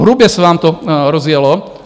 Hrubě se vám to rozjelo.